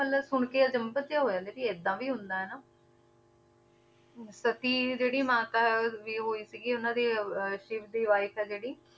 ਮਤਲਬ ਸੁਣਕੇ ਅਚੰਭਿਤ ਜਿਹਾ ਹੋ ਜਾਂਦਾ ਵੀ ਏਦਾਂ ਵੀ ਹੁੰਦਾ ਹੈ ਨਾ ਸਤੀ ਜਿਹੜੀ ਮਾਤਾ ਵੀ ਹੋਈ ਸੀਗੀ ਉਹਨਾਂ ਦੇ ਅਹ ਸਿਵ ਦੀ wife ਹੈ ਜਿਹੜੀ